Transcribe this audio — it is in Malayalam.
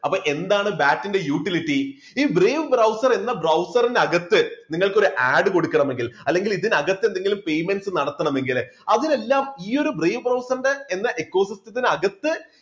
അപ്പോൾ എന്താണ് bat ന്റെ utility ഈ brave browser എന്ന browser നകത്ത് നിങ്ങൾക്കൊരു add കൊടുക്കണമെങ്കിൽ അല്ലെങ്കിൽ ഇതിനകത്ത് നിങ്ങൾക്ക് എന്തെങ്കിലും payments നടത്തണമെങ്കിൽ അതിനെല്ലാം ഈ brave browser ന്റെ ecosis ത്തിനകത്ത്